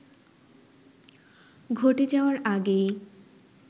ঘটে যাওয়ার আগেই